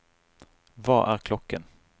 hva er klokken